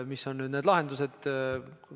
Mis on lahendused?